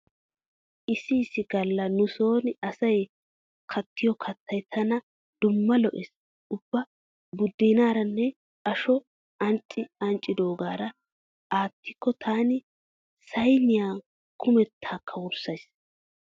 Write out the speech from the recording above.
Issi issi galla nu sooni asay kattiyo kattay tana dumma lo'ees. Ubba buddeenaaranne ashuwa ancci anccidoogaara aattikko taani sayniya kumettaakka wurssays.